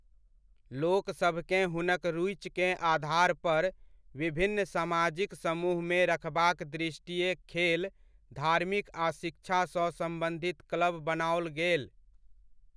लोकसभकेँ हुनक रुचिकेँ आधारपर विभिन्न समाजिक समूहमे रखबाक दृष्टिये खेल, धार्मिक आ शिक्षासँ सम्बन्धित क्लब बनाओल गेल।